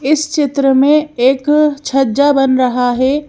इस चित्र में एक छज्जा बन रहा है।